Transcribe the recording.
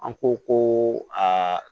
An ko ko aa